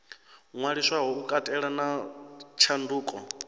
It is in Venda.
ṅwaliswaho u katela na tshanduko